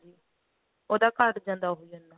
ਉਹਦਾ ਘੱਟ ਜਾਂਦਾ ਉਹੀ ਇੰਨਾ